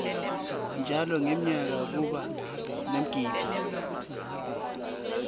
njalo ngemnyaka kuba nemigidvo